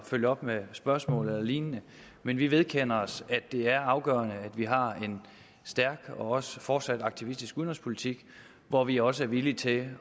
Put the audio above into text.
følge op med spørgsmål eller lignende men vi vedkender os at det er afgørende at vi har en stærk og også fortsat aktivistisk udenrigspolitik hvor vi også er villige til at